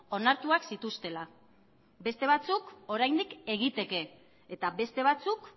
onartuak zituztela beste batzuk oraindik egiteke eta beste batzuk